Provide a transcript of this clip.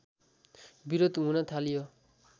विरोध हुन थाल्यो